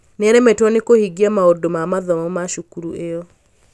nĩaremetwo nĩ kũhingia maũndũ ma mathomo ma cukuru ĩyo